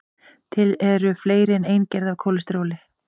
til eru fleiri en ein gerð af kólesteróli